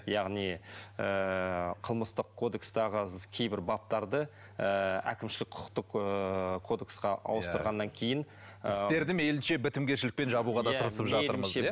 яғни ыыы қылмыстық кодекстегі кейбір баптарды ыыы әкімшілік құқықтық ыыы кодексқа ауыстырғаннан кейін ыыы істерді мейлінше бітімгершілікпен жабуға да тырысып жатыр